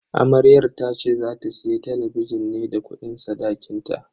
Amaryar tace za ta siya talabijin ne da kudin sadakinta.